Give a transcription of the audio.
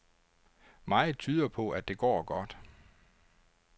Meget tyder på, at det går godt.